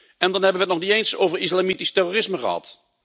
En dan hebben we het nog niet eens over islamitisch terrorisme gehad.